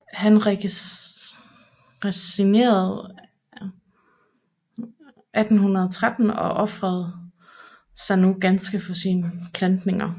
Han resignerede 1813 og ofrede sig nu ganske for sine plantninger